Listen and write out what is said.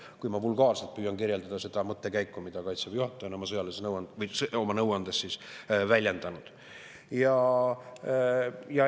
Ma püüan vulgaarselt kirjeldada seda mõttekäiku, mida Kaitseväe juhataja oma sõjalises nõuandes on väljendanud.